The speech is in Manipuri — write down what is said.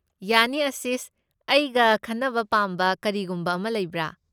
ꯌꯥꯅꯤ ꯑꯥꯁꯤꯁ, ꯑꯩꯒ ꯈꯟꯅꯕ ꯄꯥꯝꯕ ꯀꯔꯤꯒꯨꯝꯕ ꯑꯃ ꯂꯩꯕ꯭ꯔꯥ?